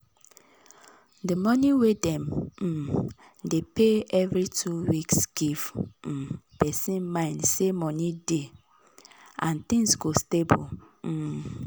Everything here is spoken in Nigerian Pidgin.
d money wey dem um dey pay every two weeks give um person mind say money dey and things go stable um